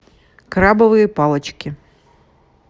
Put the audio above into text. крабовые палочки